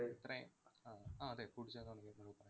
ഇത്രയം ആഹ് ആഹ് അതെ പൂട്ടിച്ചത് എന്ന് വേണമെങ്കി പറയാം.